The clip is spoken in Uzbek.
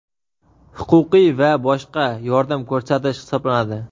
huquqiy va boshqa yordam ko‘rsatish hisoblanadi.